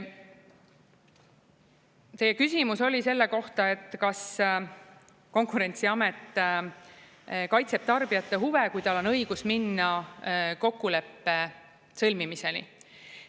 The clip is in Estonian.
Teie küsimus oli selle kohta, kas Konkurentsiamet kaitseb tarbijate huve, kui tal on õigus minna kokkuleppe sõlmimiseni.